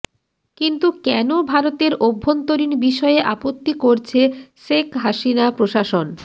কিন্তু কেন ভারতের অভ্যন্তরীণ বিষয়ে আপত্তি করছে শেখ হাসিনা প্রশাসন